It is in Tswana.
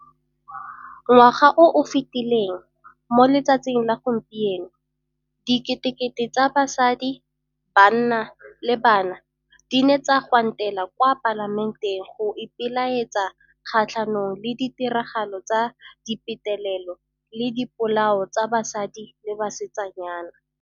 Ngwaga o o fetileleng, mo letsatsing la gompieno, diketekete tsa basadi, banna le bana di ne tsa gwantela kwa Palamenteng go ipelaetsa kgatlhanong le ditiragalo tsa dipetelelo le dipolao tsa basadi le basetsanyana.